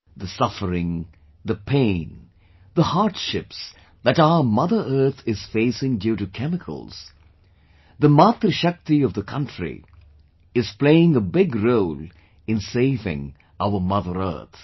The suffering, the pain and the hardships that our mother earth is facing due to chemicals the Matrishakti of the country is playing a big role in saving our mother earth